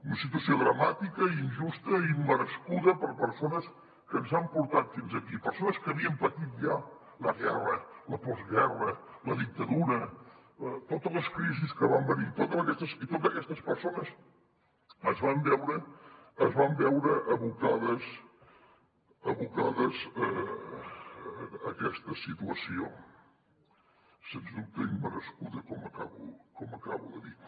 una situació dramàtica injusta i immerescuda per a persones que ens han portat fins aquí persones que havien patit ja la guerra la postguerra la dictadura totes les crisis que van venir i totes aquestes persones es van veure abocades a aquesta situació sens dubte immerescuda com acabo de dir